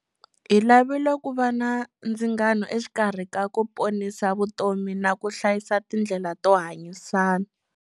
Hi lavile ku va na ndzingano exikarhi ka ku ponisa vutomi na ku hlayisa tindlela to hanyisana.